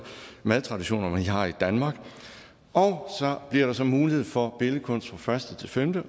madtraditioner vi har i danmark så bliver der så mulighed for billedkunst fra første til femte